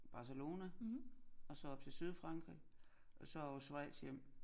Barcelona og så op til Sydfrankrig og så over Schweiz hjem